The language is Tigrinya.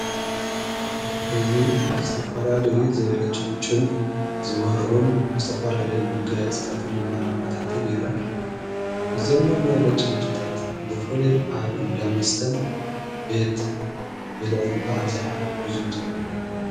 እዝ ዝስተፈላለይ ዘብለጭ ሊጭን ዝበርሁን ብዝተፈላለይ መገልት ጽታትን መማራፍታትን ይረአዩ ዘም መመብለጭ ለጭታት ብፉሊ ኣእንዳመስተን ቤት ብልዑን ብኣብዚኀ ይዙውተሩ።